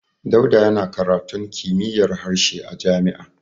Dauda yana karatun kimiyyar harshe a jami'a.